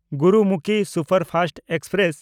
Gurumukhi superfast express